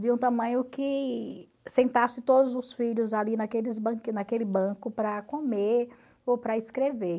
de um tamanho que sentasse todos os filhos ali naqueles naquele banco para comer ou para escrever.